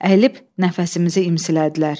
Əyilib nəfəsimizi imsilədilər.